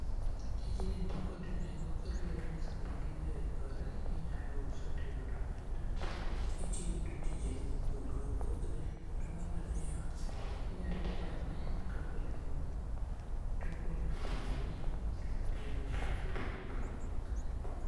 Tijni nikod nengo kaluwore ni sama gigi oikore inyalo uso tiyudo omenda mitiyogodo tijeni mopogre opogre to mar ariyo inyalo chame kaka olemo to okonyo ngimani kendo ogeng'oni tuoche mopogore opogore.